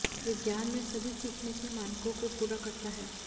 विज्ञान में सभी सीखने के मानकों को पूरा करता है